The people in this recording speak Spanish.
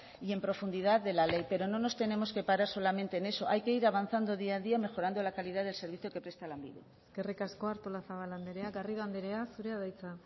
y en profundidad de la ley pero no nos tenemos que para solamente en eso hay que ir avanzando día a día mejorando la calidad del servicio que presta lanbide eskerrik asko artolazabal andrea garrido andrea zurea da hitza